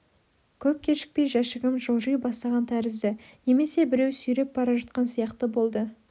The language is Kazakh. көп кешікпей жәшігім жылжи бастаған тәрізді немесе біреу сүйреп бара жатқан сияқты болды